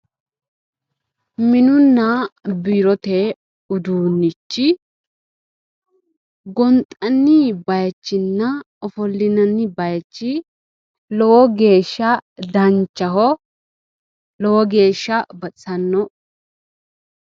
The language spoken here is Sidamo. Minunna biirote uduunnichi gonxanni bayichinna ofollinanni bayichi lowo geesha danchaho lowo geesha baxisanno.